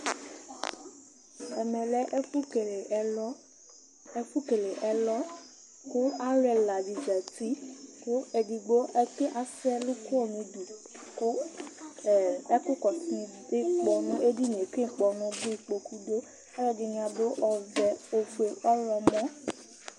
Ɛmɛ lɛ ɛfʋkele ɛlɔ, ɛfʋkele ɛlɔ kʋ alʋ ɛla dɩ zati kʋ edigbo ɛke asɛ ɛlʋ kɔ nʋ udu kʋ ɛ ɛkʋkɔsʋ ivu dʋ ikpɔnʋ dʋ edini yɛ kʋ ikpɔnʋ dʋ, kpoku dʋ Ɔlɔdɩnɩ adʋ ɔvɛ, ofue, ɔɣlɔmɔ